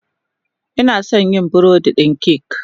Ina son yin burodin kek